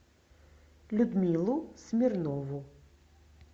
людмилу смирнову